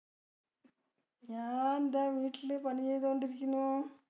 ഞാൻ ദാ വീട്ടില് പണി ചെയ്തുകൊണ്ടിരിക്കുന്നു.